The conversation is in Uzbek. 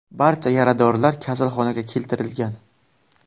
Barcha yaradorlar kasalxonaga keltirilgan.